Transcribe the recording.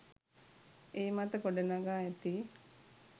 ඒ මත ගොඩ නගා ඇති